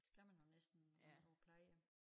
Skal man jo næsten når man på plejehjem